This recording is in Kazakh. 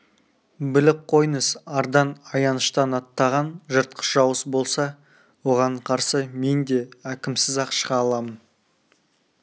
біліп қойыңыз ардан аяныштан аттаған жыртқыш жауыз болса оған қарсы мен де әкемсіз-ақ шыға аламын